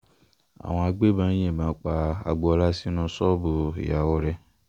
àwọn agbébọn yìnbọn pa agboola sínú ṣọ́ọ̀bù ìyàwó rẹ̀